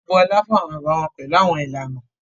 Wọn bọla fun awọn bàbà wọn pẹlu awọn ìlànà